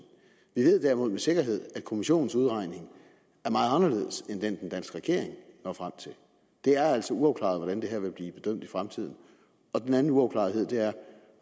vi ved derimod med sikkerhed at kommissionens udregning er meget anderledes end den den danske regering når frem til det er altså uafklaret hvordan det her vil blive bedømt i fremtiden den anden uafklarethed er